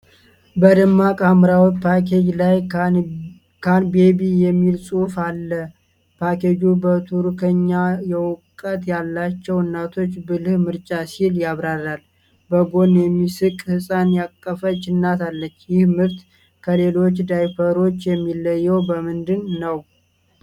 በደማቅ ሐምራዊ ፓኬጅ ላይ "ካን ቤቢ" የሚል ጽሑፍ አለ። ፓኬጁ በቱርክኛ "የእውቀት ያላቸው እናቶች ብልህ ምርጫ" ሲል ያብራራል፤ በጎን የሚስቅ ሕፃን ያቀፈች እናት አለች። ይህ ምርት ከሌሎች ዳይፐሮች የሚለየው በምንድን ነው?